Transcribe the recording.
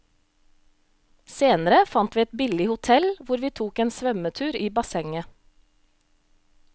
Senere fant vi et billig hotel hvor vi tok en svømmetur i bassenget.